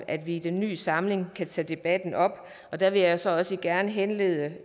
at vi i den nye samling kan tage debatten op der vil jeg så også gerne henlede